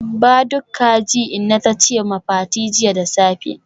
Ba duk kaji inna tace ma Fati jiya da safe